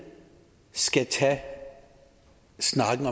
skal tage snakken